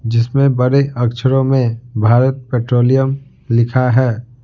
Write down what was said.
जिसमें बड़े अक्षरों में भारत पेट्रोलियम लिखा है।